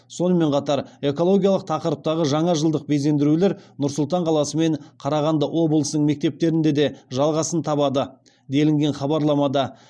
сонымен қатар экологиялық тақырыптағы жаңа жылдық безендірулер нұр сұлтан қаласы мен қарағанды облысының мектептерінде де жалғасын табады делінген хабарламада